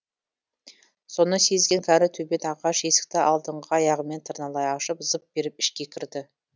соны сезген кәрі төбет ағаш есікті алдыңғы аяғымен тырналай ашып зып беріп ішке кірді